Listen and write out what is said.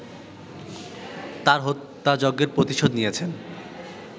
তার হত্যাযজ্ঞের প্রতিশোধ নিয়েছেন